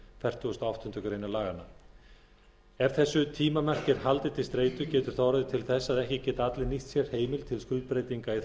fertugustu og áttundu grein laganna ef þessu tímamarki er haldið til streitu getur það orðið til þess að ekki geti allir nýtt sér heimildina til skuldbreytingar í